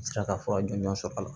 N sera ka fɔ a jɔnjɔn sɔrɔ la